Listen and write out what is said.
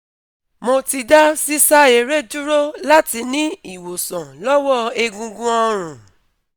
Mo ti da sisa ere duro lati ni iwonsan lowo egungun orun